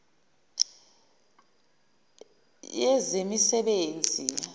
yezemisebenzi